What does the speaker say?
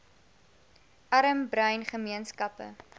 arm bruin gemeenskappe